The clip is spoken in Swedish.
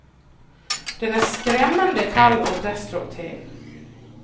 Den är skrämmande kall och destruktiv.